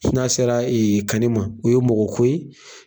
N'an sera kanni ma, o ye mɔgɔ ko ye